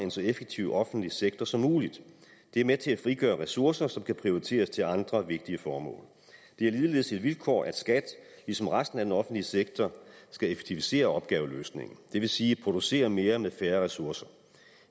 en så effektiv offentlig sektor som muligt det er med til at frigøre ressourcer som kan prioriteres til andre vigtige formål det er ligeledes et vilkår at skat ligesom resten af den offentlige sektor skal effektivisere opgaveløsningen det vil sige producere mere med færre ressourcer